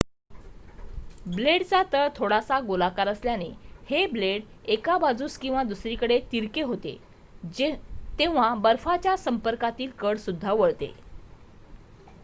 ब्लेडचा तळ थोडासा गोलाकार असल्याने हे ब्लेड एका बाजूस किंवा दुसरीकडे तिरके होते तेव्हा बर्फाच्या संपर्कातील कड सुद्धा वळते